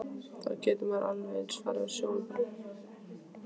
Þá getur maður alveg eins farið á sjóinn bara.